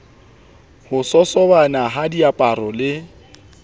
ho sosobana ha diaparo le